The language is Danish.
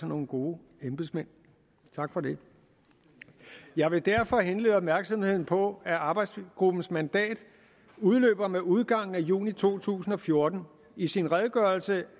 nogle gode embedsmænd tak for det jeg vil derfor henlede opmærksomheden på at arbejdsgruppens mandat udløber med udgangen af juni to tusind og fjorten i sin redegørelse